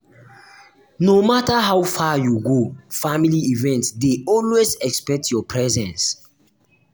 no matter how far you go family event dey always expect your presence.